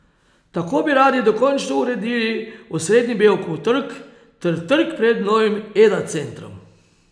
Tako bi radi dokončno uredili osrednji Bevkov trg ter trg pred novim Eda centrom.